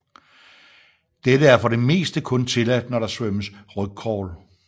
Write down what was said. Dette er for det meste kun tilladt når der svømmes rygcrawl